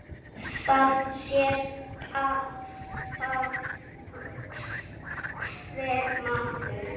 Það sér það hver maður.